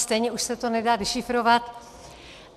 Stejně už se to nedá dešifrovat.